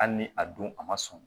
Hali ni a dun a ma sɔn